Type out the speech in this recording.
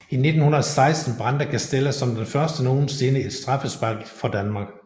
I 1916 brændte Castella som den første nogensinde et straffespark for Danmark